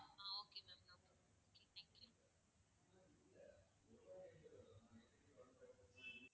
um okay ma'am okay thank you